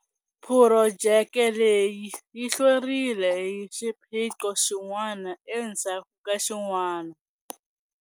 Phurojeke leyi yi hlwerile hi xiphiqo xin'wana endzhaku ka xin'wana.